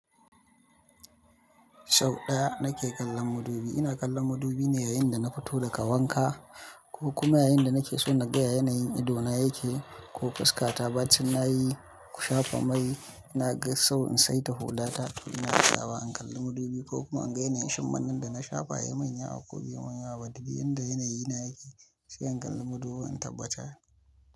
Sau ɗaya na ke kallon madubi. Ina kallon madubi ne yayin da na fito daga wanka ko kuma yayinda nakeso naga ya yanayin idona yake ko fuskata bacin na yi, ku shafa mai, ina ga sau in saita hulata. Ina tsayawa, in kalli madubi ko kuma in ga yanayin shim mannan da na shafa. Ya manyawa ko bai manyawa, badi biyu yadda yanayi na yake sai in kalli madubi in tabbata.